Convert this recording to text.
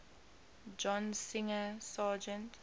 john singer sargent